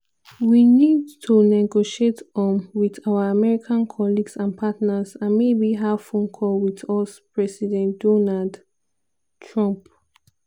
"we need to negotiate um wit our american colleagues and partners" and "maybe" have phone call wit us president donald trump.